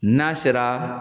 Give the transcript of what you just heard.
N'a sera